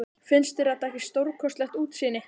Finnst þér þetta ekki stórkostlegt útsýni?